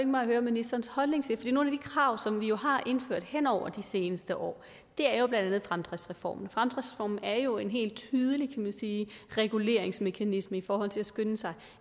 mig at høre ministerens holdning til de krav som vi jo har indført hen over de seneste år er jo blandt andet fremdriftsreformen fremdriftsreformen er jo en helt tydelig reguleringsmekanisme i forhold til at skynde sig